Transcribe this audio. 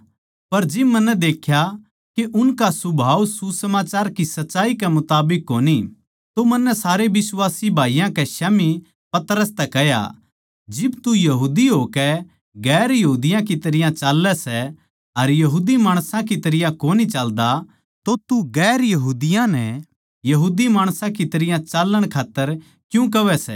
पर जिब मन्नै देख्या के उनका सुभाव सुसमाचार की सच्चाई के मुताबिक कोनी तो मन्नै सारे बिश्वासी भाईयाँ कै स्याम्ही पतरस तै कह्या जिब तू यहूदी होकै गैर यहूदियाँ की तरियां चाल्लै सै अर यहूदी माणसां की तरियां कोनी चाल्दा तो तू गैर यहूदियाँ नै यहूदी माणसां की तरियां चालण खात्तर क्यूँ कहवै सै